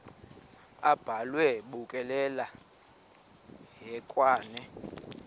abhalwe bukekela hekwane